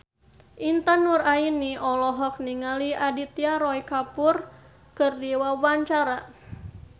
Intan Nuraini olohok ningali Aditya Roy Kapoor keur diwawancara